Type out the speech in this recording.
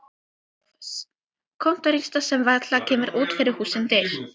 SOPHUS: Kontórista sem varla kemur út fyrir hússins dyr.